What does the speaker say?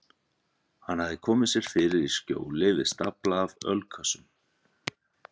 Hann hafði komið sér fyrir í skjóli við stafla af ölkössum.